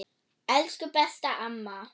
Elsku besta amma.